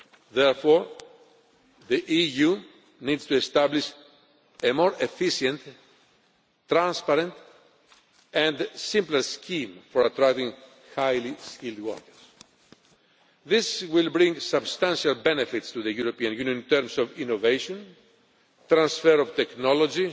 Therefore, the EU needs to establish a more efficient, transparent and simpler scheme for attracting highly skilled workers. This will bring substantial benefits to the European Union in terms of innovation, transfer of technology